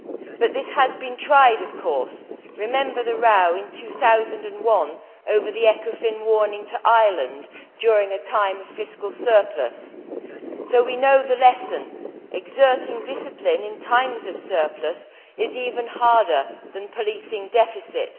But this has been tried, of course. Remember the row in 2001 over the Ecofin warning to Ireland during a time of fiscal surplus. So we know the lesson exerting discipline in times of surplus is even harder than policing deficit.